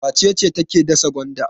Wace ce take dasa gwanda?